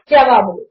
జవాబులు